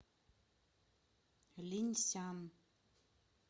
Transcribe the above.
линьсян